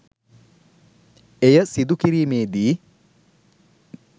එය සිදු කිරීමේදී